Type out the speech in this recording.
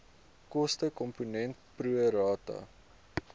kostekomponent pro rata